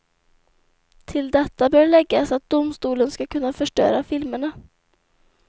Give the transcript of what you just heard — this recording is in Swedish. Till detta bör läggas att domstolen ska kunna förstöra filmerna.